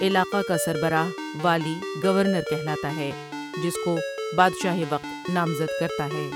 علاقہ کا سربرہ والی گورنر کہلاتا ہے جس کو بادشاہ وقت نامزد کرتا ہے ۔